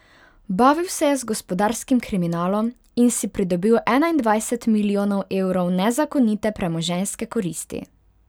Bavil se je z gospodarskim kriminalom in si pridobil enaindvajset milijonov evrov nezakonite premoženjske koristi.